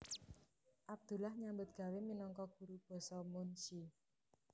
Abdullah nyambut gawé minangka guru basa munsyi